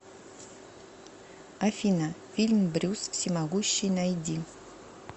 афина фильм брюс всемогущий найди